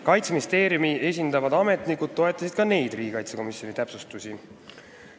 Kaitseministeeriumi esindavad ametnikud toetasid ka neid täpsustusi.